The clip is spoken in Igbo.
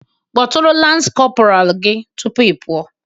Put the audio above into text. Kpọtụrụ lance corporal gị tupu ị pụọ